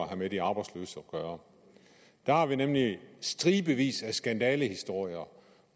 have med de arbejdsløse at gøre der er nemlig stribevis af skandalehistorier